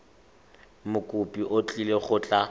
mokopi o tlile go tla